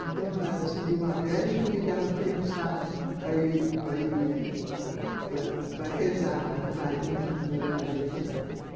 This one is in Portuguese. Então ela acendia uma vela e convidava as criançadas para ir para ir para rezar a ave maria, ensinando a ave maria, né